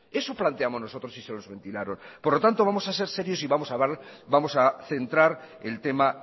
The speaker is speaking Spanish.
eso planteamos nosotros y se los ventilaron por lo tanto vamos a ser serios y vamos a centrar el tema